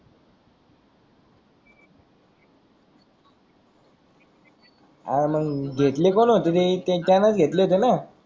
हा मग घेतले कोण होते ते त्याचं घेतले होते णा